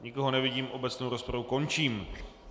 Nikoho nevidím, obecnou rozpravu končím.